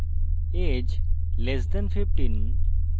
age less than 15